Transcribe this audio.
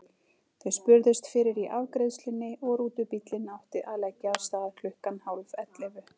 Þau spurðust fyrir í afgreiðslunni og rútubíllinn átti að leggja af stað klukkan hálf ellefu.